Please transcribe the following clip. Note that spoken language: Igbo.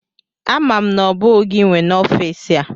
Ama m na ọ bụghị gị nwe n'ọfịs a.